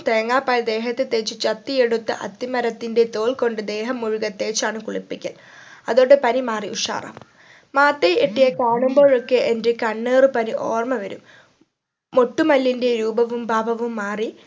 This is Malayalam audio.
തേങ്ങാപാൽ ദേഹത്തു തേച് ചത്തിയെടുത്ത അത്തിമരത്തിന്റെ തോൽ കൊണ്ട് ദേഹം മുഴുവൻ തേച്ചാണ് കുളിപ്പിക്കൽ അതോടെ പനി മാറി ഉഷാറാവും മാതയ് എട്ടിയെ കാണുമ്പോ ഒക്കെ എന്റെ കണ്ണേറ് പനി ഓർമ വരും മൊട്ടുമല്ലിന്റെ രൂപവും ഭാവവും മാറി